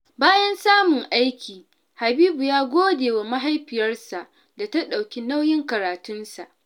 Bayan samun aiki, Habibu ya gode wa mahaifiyarsa da ta ɗauki nauyin karatunsa.